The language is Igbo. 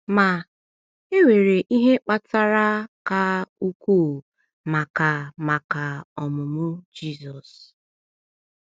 Ma, e nwere ihe kpatara ka ukwuu maka maka ọmụmụ Jizọs.